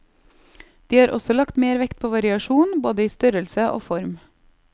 De har også lagt mer vekt på variasjon, både i størrelse og form.